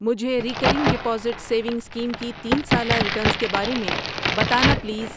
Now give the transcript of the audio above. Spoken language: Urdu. مجھے ریکرنگ ڈپازٹ سیونگ اسکیم کی تین سالہ ریٹرنز کے بارے میں بتانا پلیز۔